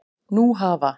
Nú hafa